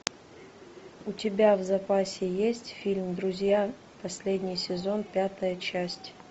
у тебя в запасе есть фильм друзья последний сезон пятая часть